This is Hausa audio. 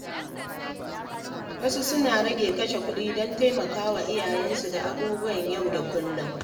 Wasu suna rage kashe kuɗi don taimaka wa iyayensu da abubuwan yau da kullum.